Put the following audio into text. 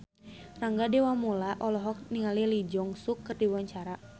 Rangga Dewamoela olohok ningali Lee Jeong Suk keur diwawancara